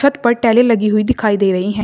छत पर टैली लगी हुई दिखाई दे रही है।